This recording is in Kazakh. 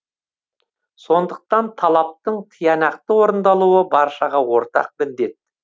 сондықтан талаптың тиянақты орындалуы баршаға ортақ міндет